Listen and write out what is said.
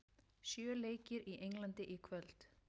Sjö leikir í Englandi í kvöld